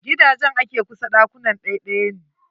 Gidajen a ke kusa ɗakuna ɗaɗɗaya ne.